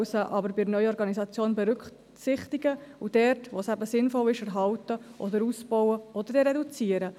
Man soll sie aber bei der Neuorganisation berücksichtigen und dort, wo es sinnvoll ist, erhalten oder ausbauen – oder aber reduzieren.